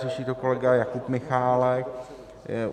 Řeší to kolega Jakub Michálek.